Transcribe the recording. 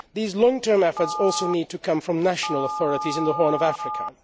These long term efforts also need to come from national authorities in the Horn of Africa.